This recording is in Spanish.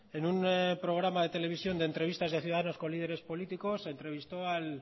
en un programa de televisión de entrevistas a ciudadanos con líderes políticos se entrevistó al